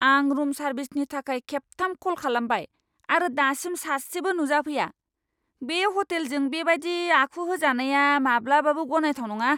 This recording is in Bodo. आं रुम सार्भिसनि थाखाय खेबथाम कल खालामबाय, आरो दासिम सासेबो नुजाफैया। बे ह'टेलजों बेबायदि आखु होजानाया माब्लाबाबो गनायथाव नङा!